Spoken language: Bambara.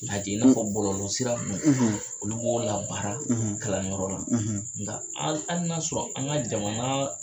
A jigin i n'a fɔ bɔlɔlɔ sira ninnu, olu b'o labaara kalanyɔrɔ la nka hali n'a sɔrɔ an ka jamana